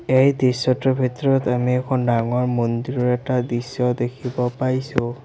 এই দৃশ্যটোৰ ভিতৰত আমি এখন ডাঙৰ মন্দিৰৰ এটা দৃশ্য দেখিব পাইছোঁ।